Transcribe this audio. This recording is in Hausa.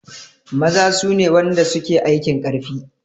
Maza sune wanda suke aikin karfi